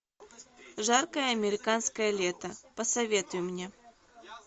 жаркое американское лето посоветуй мне